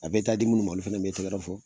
A bɛ taa di minnu ma olu fana tɛgɛrɛ fɔ